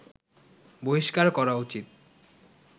বহিষ্কার করা উচিত